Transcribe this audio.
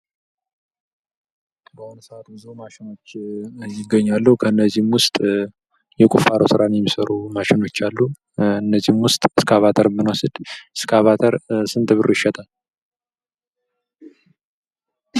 በአሁን ሰዓት ብዙ ማሽኖች ይገኛሉ። ከእነዚህም ውስጥ የቁፋሮ ስራዎችን የሚሰሩ ማሸኖች አሉ ።ከእነዚህም ውስጥ እስካባተርን ብንወስድ እስካባተር ስንት ብር ይሸጣል?